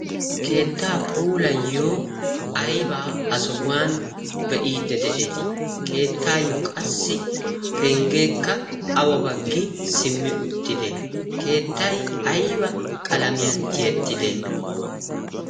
keettaa puulayiyo aybaa ha sohuwan be'iidde de'eetii keettaayyo qassi penggeekka awa baggi simmi uttide keettay ayba qalamiyan tiyettide